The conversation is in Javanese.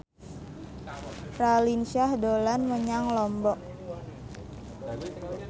Raline Shah dolan menyang Lombok